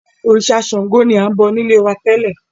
Òrìṣà Sángo ni a ń bọ nílé wá tẹ́lẹ̀